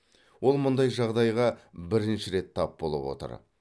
ол мұндай жағдайға бірінші рет тап болып отыр